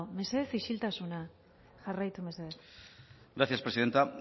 mesedez isiltasuna jarraitu mesedez gracias presidenta